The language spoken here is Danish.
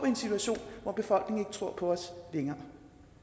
en situation hvor befolkningen ikke tror på os længere